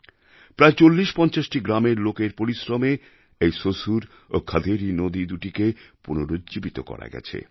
প্রায় ৪০৪৫টি গ্রামের লোকের পরিশ্রমে এই কাজ সম্ভব হয়েছে